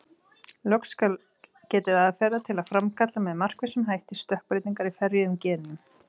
Loks skal getið aðferða til að framkalla með markvissum hætti stökkbreytingar í ferjuðum genum.